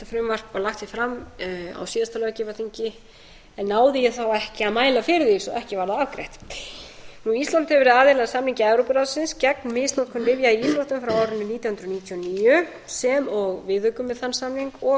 frumvarp var lagt hér fram á síðasta löggjafarþingi en náði ég þá ekki að mæla fyrir því svo að ekki var það afgreitt ísland hefur verið aðili að samningi evrópuráðsins gegn misnotkun lyfja í íþróttum frá árinu hundrað níutíu og níu sem og viðaukum við þann samning og